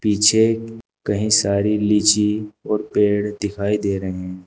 पीछे कहीं सारी लीची और पेड़ दिखाई दे रहे हैं।